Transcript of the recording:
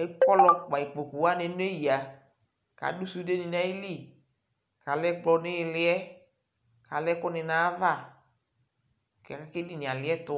akɔlɔ kele ikpokuwanɩ neyǝ, kʊ adʊ sũndenɩ nʊ ayili, kʊ alɛ ɛkplɔ nʊ iili yɛ, kʊ alɛ ɛkʊnɩ nʊ ayava, kʊ edini yɛ aliɛtʊ